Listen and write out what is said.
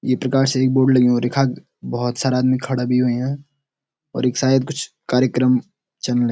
ये प्रकार से एक बोर्ड लग्युं और यखा भोत सारा आदमी खड़ा भी हुयां और यख शायद कुछ कार्यक्रम चलन --